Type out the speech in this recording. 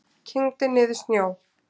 Kyngdi niður snjó.